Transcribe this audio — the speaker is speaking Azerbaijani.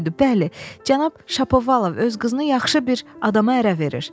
Bəli, cənab Şapovalov öz qızını yaxşı bir adama ərə verir.